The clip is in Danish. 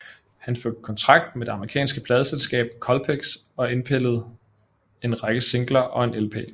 Han fik kontrakt med det amerikanske pladeselskab Colpix og indpillede en række singler og en lp